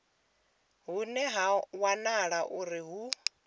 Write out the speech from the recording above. hune ha wanala uri hu